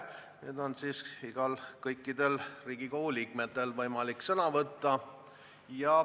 Nüüd on siis kõikidel Riigikogu liikmetel võimalik sõna võtta.